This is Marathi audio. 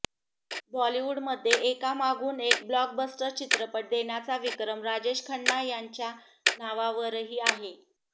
बॉलिवूडमध्ये एकामागून एक ब्लॉकबस्टर चित्रपट देण्याचा विक्रम राजेश खन्ना यांच्या नावावरही आहे